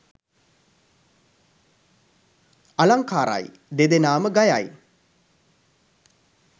අලංකාරයි! දෙදෙනාම ගයයි